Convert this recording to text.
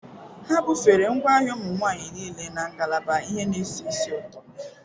Ha bufere ngwaahịa ụmụ nwanyị niile na ngalaba ihe na-esi ísì ụtọ.